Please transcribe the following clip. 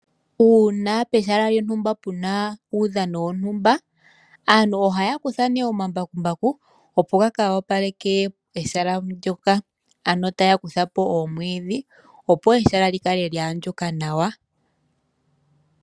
Uuna pehala lyontumba puna uudhano wontumba, aantu ohaya kutha ne omambakumbaku opo gaka wopaleke pehala ndjoka, ano taya kutha po omwiidhi opo ehala lyikale lyahandjuka nawa.